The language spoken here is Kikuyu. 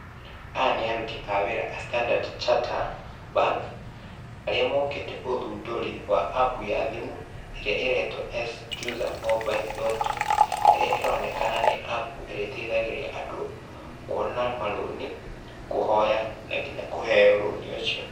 Aya nĩ aruti a wĩra a standard charter bank, arĩa mokĩte ũthundũri wa app ya thimũ ĩrĩa ĩretwo SC CHUSA Mobile Loan App, ĩrĩa ĩronekana nĩ app ĩrĩteithagĩrĩria andũ, kuona marũni kũhoya na nginya kũheo rũni ũcio.